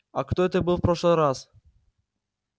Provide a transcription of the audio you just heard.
а кто это был в прошлый раз